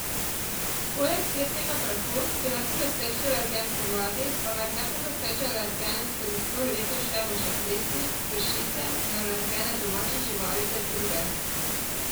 Poleg cvetnega prahu, ki je najpogostejši alergen spomladi, pa med najpogostejše alergene skozi vse leto štejemo še plesni, pršice in alergene domačih živali ter druge.